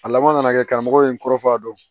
A laban nana kɛ karamɔgɔ ye n kɔrɔ fɔ a dɔn